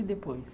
E depois?